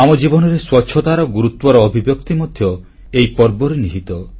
ଆମ ଜୀବନରେ ସ୍ୱଚ୍ଛତା ଗୁରୁତ୍ୱର ଅଭିବ୍ୟକ୍ତି ମଧ୍ୟ ଏହି ପର୍ବରେ ନିହିତ